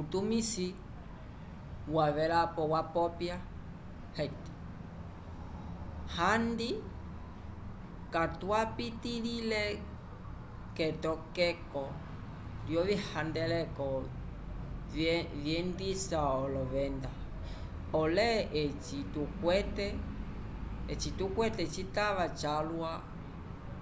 utumisi wavelapo wapopya handi katwapitiĩle k'etokeko lyovihandeleko vyendisa olovenda pole eci tukwete citava calwa